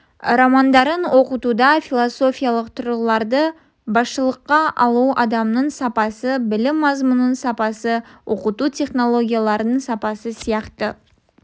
романдарын оқытуда философиялық тұрғыларды басшылыққа алу адамның сапасы білім мазмұнының сапасы оқыту технологияларының сапасы сияқты